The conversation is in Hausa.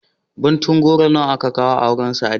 Ɓuntun goro nawa aka kawo a auren Sadiya?